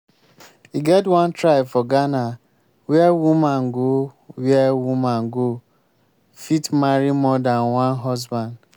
e get one tribe for ghana where woman go where woman go fit marry more dan one husband